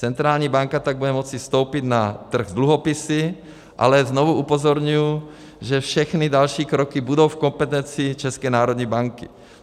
Centrální banka pak bude moci vstoupit na trh s dluhopisy, ale znovu upozorňuji, že všechny další kroky budou v kompetenci České národní banky.